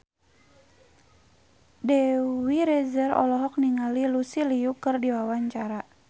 Dewi Rezer olohok ningali Lucy Liu keur diwawancara